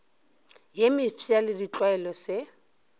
ye mefsa le ditlwaelo se